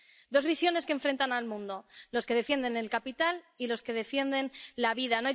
Dos visiones que enfrentan al mundo los que defienden el capital y los que defienden la vida.